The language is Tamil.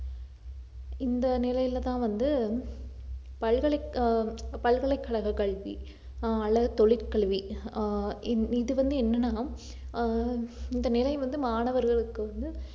இந்த நிலையில தான் வந்து பல்கலை~ ஆஹ் பல்கலைக்கழக கல்வி அல்லது தொழிற்கல்வி ஆஹ் இது இது வந்து என்னன்னா ஆஹ் இந்த நிலை வந்து மாணவர்களுக்கு வந்து